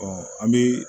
an bɛ